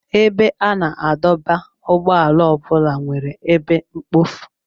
Ebe a na-adọba ụgbọala ọ bụla nwere ebe mkpofu.